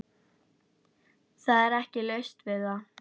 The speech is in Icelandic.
Það er ekki laust við að